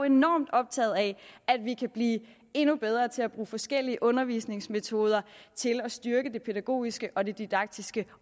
enormt optaget af at vi kan blive endnu bedre til at bruge forskellige undervisningsmetoder og til at styrke det pædagogiske og det didaktiske